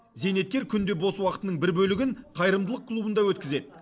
зейнеткер күнде бос уақытының бір бөлігін қайырымдылық клубында өткізеді